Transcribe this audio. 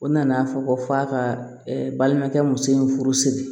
O nana fɔ ko f'a ka balimakɛ muso in furu siri